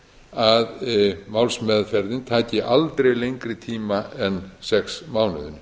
að málsmeðferðin taki aldrei lengri tíma en sex mánuði